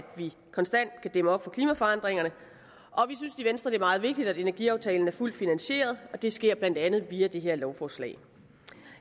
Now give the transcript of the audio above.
vi konstant kan dæmme op for klimaforandringerne og vi synes i venstre er meget vigtigt at energiaftalen er fuldt finansieret og det sker blandt andet via det her lovforslag